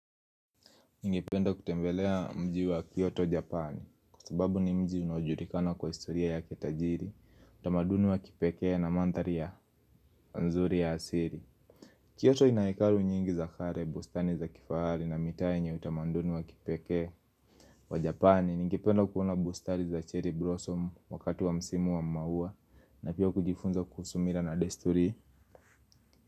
Ningependa kutembelea mji wa Kyoto Japan kwa sababu ni mji unaojulikana kwa historia yake tajiri, utamaduni wa kipekee na mandhari ya nzuri ya asili. Kyoto ina hekalu nyingi za kale, bustani za kifahari na mitaa yenye utamaduni wa kipekee. Wa Japani ningependa kuona bustani za cherry blossom wakati wa msimu wa maua na pia kujifunza kuhusu mila na desturi.